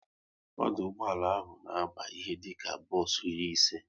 Ọdụ ụgbọala ahụ na aba ihe dịka bos iri ise